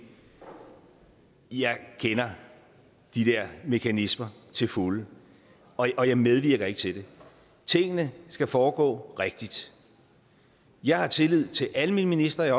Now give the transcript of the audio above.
jeg kender de der mekanismer til fulde og jeg og jeg medvirker ikke til det tingene skal foregå rigtigt jeg har tillid til alle mine ministre jeg